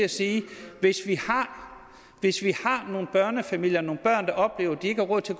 at sige at hvis vi har nogle børnefamilier og nogle børn der oplever at de ikke har råd til